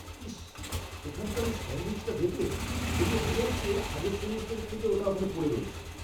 ইশ্! ওখানকার ওই স্যাণ্ডউইচটা দেখলে? দেখে মনে হচ্ছে আগের সেমেস্টার থেকে ওটা ওখানে পড়ে রয়েছে!